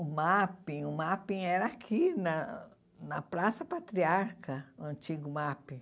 O mapping o mapping era aqui, na na Praça Patriarca, o antigo mapping.